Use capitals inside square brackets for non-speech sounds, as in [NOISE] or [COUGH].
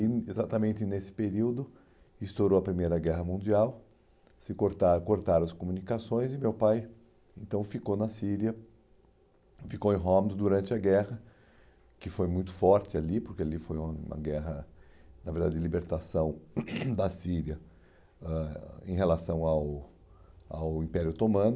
E exatamente nesse período estourou a Primeira Guerra Mundial, que se cortaram cortaram as comunicações e meu pai então ficou na Síria, ficou em Homs durante a guerra, que foi muito forte ali, porque ali foi uma uma guerra, na verdade, de libertação [COUGHS] da Síria né em relação ao ao Império Otomano.